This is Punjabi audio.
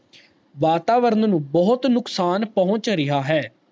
ਵਾਤਾਵਰਨ ਨੂੰ ਬਹੁਤ ਨੁਕਸਾਨ ਪਹੁਚ ਰੇਯਾ ਹੈ